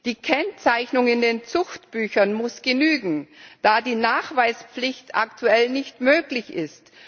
Die Kennzeichnung in den Zuchtbüchern muss genügen da die Nachweispflicht aktuell nicht möglich ist.